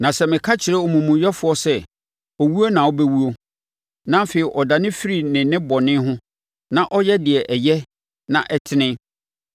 Na sɛ meka kyerɛ omumuyɛfoɔ sɛ, ‘Owuo na wobɛwuo,’ na afei ɔdane firi ne nnebɔne ho na ɔyɛ deɛ ɛyɛ na ɛtene,